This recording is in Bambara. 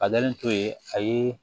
A dalen to yen a ye